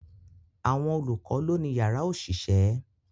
Àwọn olùkọ́ lọ́ ni yàrá òṣìṣẹ́